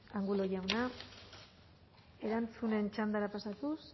angulo jauna erantzunen txandara pasatuz